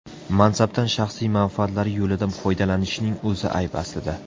Mansabdan shaxsiy manfaatlari yo‘lida foydalanishning o‘zi ayb aslida.